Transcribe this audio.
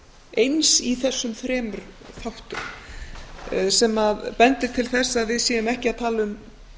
eins í þessum þremur þáttum sem bendir til þess að við séum ekki að tala um